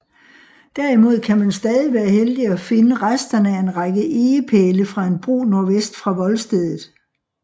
Derimod kan man stadig være heldig at finde resterne af en række egepæle fra en bro nordvest for voldstedet